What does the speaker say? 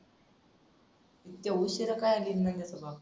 ते उशिरा का आली नंद्याचा बाप?